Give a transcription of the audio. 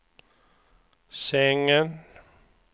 sängen